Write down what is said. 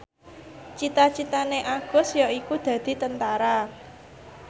cita citane Agus yaiku dadi Tentara